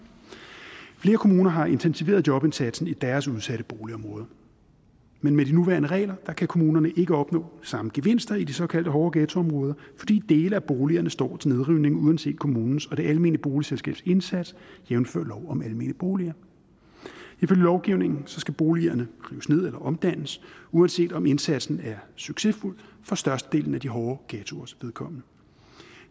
flere kommuner har intensiveret jobindsatsen i deres udsatte boligområder men med de nuværende regler kan kommunerne ikke opnå samme gevinster i de såkaldte hårde ghettoområder fordi dele af boligerne står til nedrivning uanset kommunens og det almene boligselskabs indsats jævnfør lov om almene boliger ifølge lovgivningen skal boligerne rives ned eller omdannes uanset om indsatsen er succesfuld for størstedelen af de hårde ghettoers vedkommende